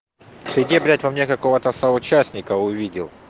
ты где блять во мне какого-то соучастника увидел